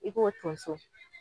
I k'o tonso